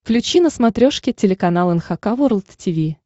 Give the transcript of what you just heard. включи на смотрешке телеканал эн эйч кей волд ти ви